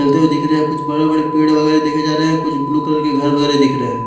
चलते हुए दिख रहे हैं कुछ बड़े बड़े पेड़ वगैरा देखे जा रहे हैं कुछ ब्लू कलर के घर वगैरा दिख रहे हैं।